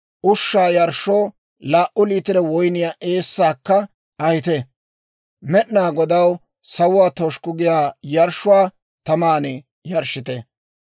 ushshaa yarshshoo laa"u liitiro woyniyaa eessaakka ahite. Med'inaa Godaw sawuwaa toshukku giyaa yarshshuwaa taman yarshshite.